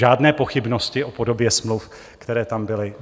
Žádné pochybnosti o podobě smluv, které tam byly.